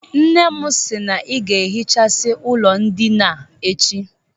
Nne m si na ị ga-ehichasi ụlọ ndịna a echi